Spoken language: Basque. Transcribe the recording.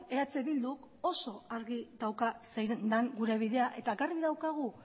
eh bilduk oso argi dauka zein den gure bidea eta garbi daukagu